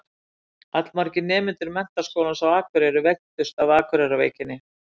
Allmargir nemendur Menntaskólans á Akureyri veiktust af Akureyrarveikinni.